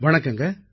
வணக்கம் ஐயா